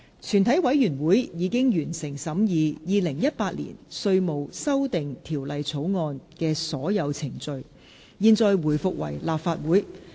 全體委員會已完成審議《2018年稅務條例草案》的所有程序。現在回復為立法會。